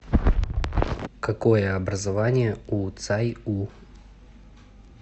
какое образование у цай у